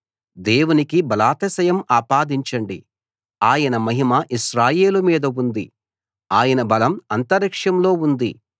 దేవునికి బలాతిశయం ఆపాదించండి ఆయన మహిమ ఇశ్రాయేలు మీద ఉంది ఆయన బలం అంతరిక్షంలో ఉంది